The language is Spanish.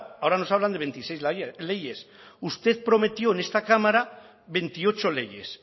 ahora nos hablan de veintiséis leyes usted prometió en esta cámara veintiocho leyes